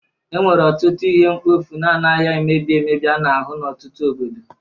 Enwere ọtụtụ ihe mkpofu na-anaghị emebi emebi a na-ahụ n'ọtụtụ obodo